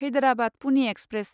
Hyderabad Pune express